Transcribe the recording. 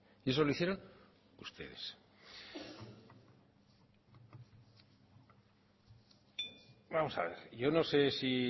y eso lo hicieron ustedes vamos a ver yo no sé si